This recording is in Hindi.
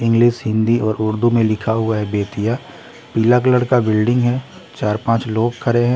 इंग्लिश हिंदी और उर्दू में लिखा हुआ है बेतिया पीला कलर का बिल्डिंग है चार पांच लोग खड़े है।